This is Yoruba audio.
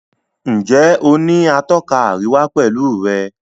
Njé o ní Atọ́ka àríwá pẹlú rẹ?